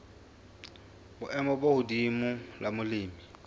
boemo bo hodimo la molemi